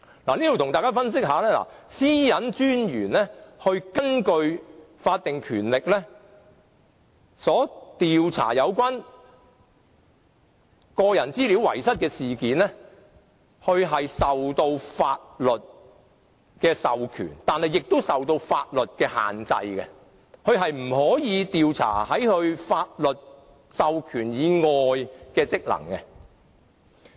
個人資料私隱專員是根據法定權力調查有關個人資料遺失的事件，它既受到法律的授權，但也受到法律的限制，所以不能調查法律授權以外的範圍。